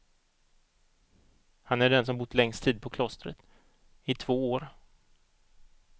Han är den som bott längst tid på klostret, i två år.